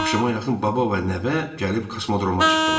Axşama yaxın baba və nəvə gəlib kosmodroma çıxdılar.